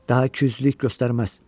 Daha küylülük göstərməz.